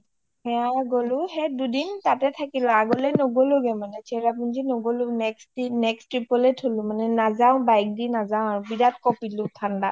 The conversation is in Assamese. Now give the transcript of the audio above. অ সেইয়া গ’লো সেই দুইদিন তাতে থাকিলো আৰু আগলৈ নগলো গে মানে চেৰাপুঞ্জি নগলো next trip লৈ থলো মানে নাজাও bike দি নাজাও আৰু বিৰাত কপিলো ঠাণ্ডাত